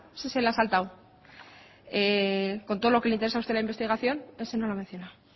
ese se lo ha saltado con todo lo que le interesa a usted la investigación ese no lo ha mencionado